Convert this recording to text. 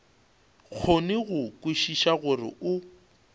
kgone go kwešiša gore o